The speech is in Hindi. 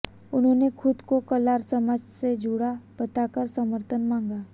उन्होंने खुद को कलार समाज से जुड़ा बताकर समर्थन मांगा